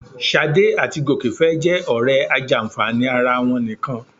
Ṣadé àti Gòkè fẹ́ jẹ́ ọ̀rẹ́ ajàǹfààní ara wọn nìkan